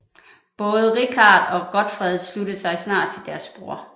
Både Richard og Godfred sluttede sig snart til deres bror